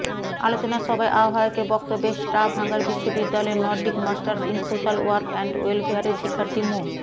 আলোচনা সভায় আহবায়কের বক্তব্যে স্টাভাঙার বিশ্ববিদ্যালয়ের Nordic masters in social work and ওয়েলফেয়ারের শিক্ষার্থী মো